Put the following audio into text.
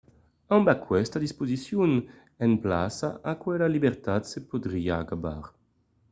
amb aquesta disposicion en plaça aquela libertat se podriá acabar